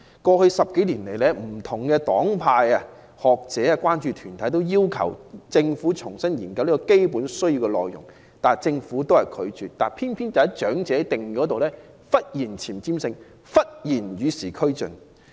過去10多年來，不同黨派、學者、關注團體均要求政府重新研究"基本需要"的內容，但政府一直拒絕，偏偏在長者定義方面，政府卻忽然有前瞻性、忽然與時俱進。